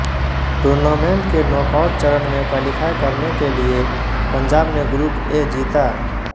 tournament के knockout चरण में क्वालीफाई करने के लिए पंजाब ने ग्रुप ए जीता